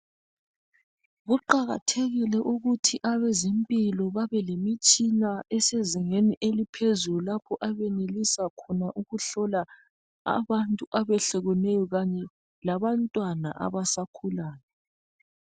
Kuqakathekile ukuthi abezempilo babelemitshina esezingeni eliphezulu lapho abenelisa khona ukuhlola abantu abehlukeneyo Kanye labantwana abasakhulayo.